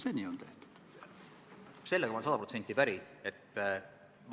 Hea ettekandja, kõigepealt tänan väga sisukate selgituste eest.